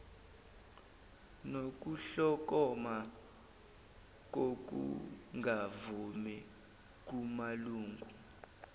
nokuhlokoma kokungavumi kumalungu